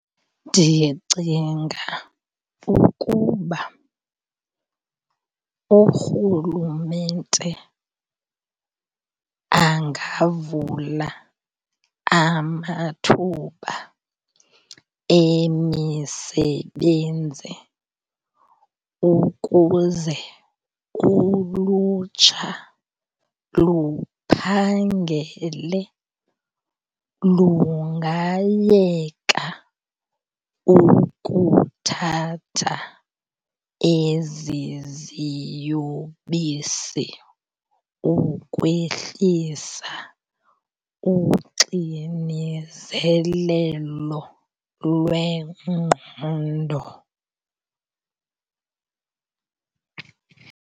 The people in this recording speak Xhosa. Ndicinga ukuba uRhulumente angavula amathuba emisebenzi ukuze ulutsha luphangele. Lungayeka ukuthatha ezi ziyobisi ukwehlisa uxinizelelo lwengqondo.